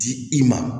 Di i ma